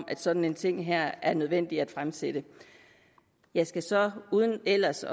at sådan en ting her er nødvendig at fremsætte jeg skal så uden ellers